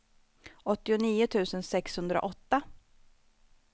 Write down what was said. åttionio tusen sexhundraåtta